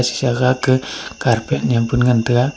chih agaka carpet nyem pun ngan taiga.